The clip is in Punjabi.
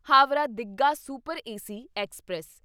Howrah Digha super AC express